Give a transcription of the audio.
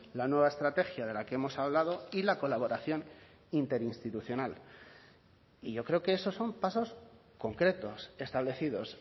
la nueva estrategia de la que hemos hablado y la colaboración interinstitucional y yo creo que esos son pasos concretos establecidos